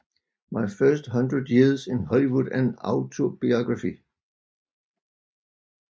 My First Hundred Years in Hollywood an Autobiography